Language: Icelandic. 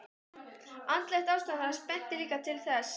Andlegt ástand hans benti líka til þess.